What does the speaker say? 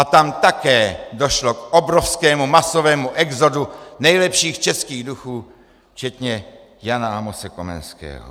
A tam také došlo k obrovskému, masovému exodu nejlepších českých duchů, včetně Jana Amose Komenského.